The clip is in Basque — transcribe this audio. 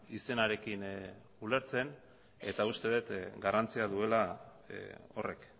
izenarekin ulertzen eta uste dut garrantzia duela horrek